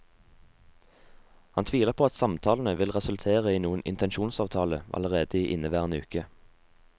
Han tviler på at samtalene vil resultere i noen intensjonsavtale allerede i inneværende uke.